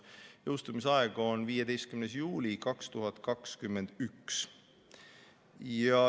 Jõustumise aeg on 15. juuli 2021.